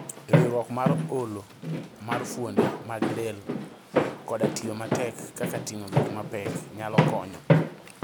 riwruok mar olo ma fuonde mag del koda tiyo matek, kaka ting'o gik ma pek, nyalo konyo